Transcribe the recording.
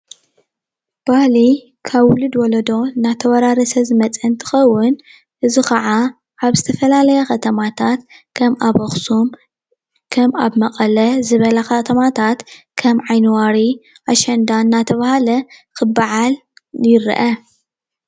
ባህሊ ካብ ውልድ ወለዶ እንዳተወራረሰ ዝመፀ እንትከውን እዚ ከዓ ኣብ ዝተፈላለያ ከተማታት ከም ኣብ ኣክሱም ከም ኣብ መቐለ ዝበላ ከተማታት ከም ዓኒ ዋሪ ኣሸንዳ እንዳተባሃለ ክበዓል ይረአ፡፡